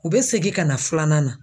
U be segi ka na filanan na